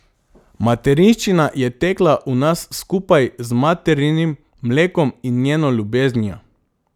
Materinščina je tekla v nas skupaj z materinim mlekom in njeno ljubeznijo.